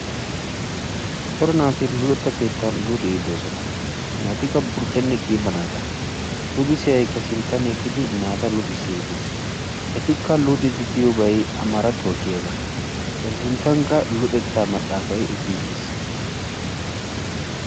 Daro naati luxetta keettan luxiddi de'osonn. Naatikka burcce naatta luxissiyage sinttan eqqiis. Etti luxiyossan amarattuwa giyaage xaafettiis.